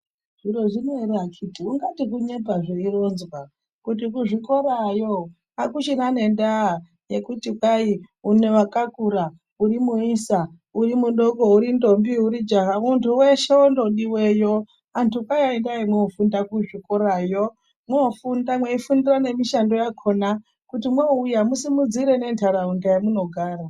"Zviro zvino ere akhiti, ungati kunyepa zveironzwa, kuti kuzvikorayo akuchina nendaa yekuti kwai wakakura, urimuisa, uri mudoko, uri ntombi, uri jaha, muntu weshe ondodiweyo, antu kwaiendai mwofunda kuzvikorayo mwofunda, mweifundira nemishando yakona kuti mwouya musimudzire nentaraunda yamunogara."